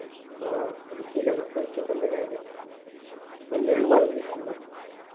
ആ ഇനി syllabus പഠിച്ചിട്ടെന്ത് കാര്യം